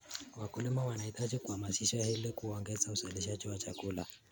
Wakulima wanahitaji kuhamasishwa ili kuongeza uzalishaji wa chakula.